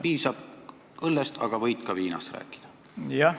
Piisab õllest, aga võid ka viinast rääkida.